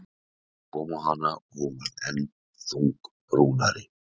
Það kom á hana og hún varð enn þungbúnari.